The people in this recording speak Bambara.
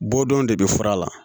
Bɔdenw de bɛ fura la